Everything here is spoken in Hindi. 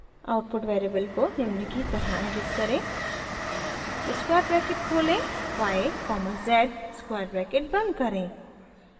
आउटपुट वेरिएबल को निम्न की तरह एडिट करें स्क्वायर ब्रैकेट खोलें y comma z square bracket बंद करें